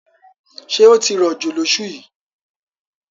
Ṣé ó ti rọ̀jò lọ́ṣù yìí?